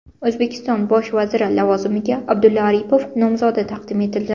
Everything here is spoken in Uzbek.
O‘zbekiston bosh vaziri lavozimiga Abdulla Aripov nomzodi taqdim etildi.